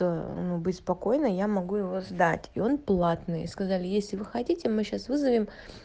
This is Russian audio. э беспокойная я могу его сдать и он платный и сказали если вы хотите мы сейчас вызовем